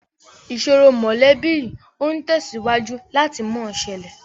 Ìsòro mọ́lẹ̀bi yìí ó tẹ̀síwájú láti mọ ṣẹlẹ̀